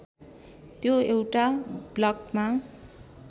त्यो एउटा ब्लकमा